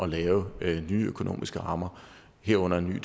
lave nye økonomiske rammer herunder en ny